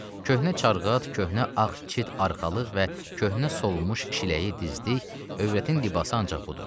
Köhnə çarqat, köhnə ağçit arxalıq və köhnə solmuş şiləyi dizdik, övrətin libası ancaq budur.